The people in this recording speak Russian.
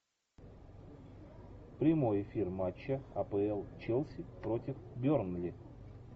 прямой эфир матча апл челси против бернли